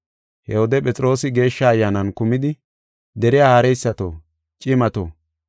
He wode Phexroosi Geeshsha Ayyaanan kumidi, “Deriya haareysato, cimato,